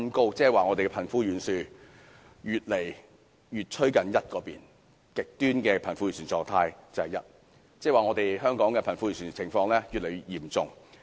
換言之，香港的貧富懸殊越來越接近 1， 而極端的貧富狀態便是 1， 這代表香港的貧富懸殊情況已越來越嚴重。